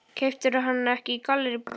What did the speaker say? Keyptirðu hana ekki í Gallerí Borg?